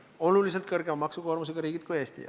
Need on oluliselt suurema maksukoormusega riigid kui Eesti.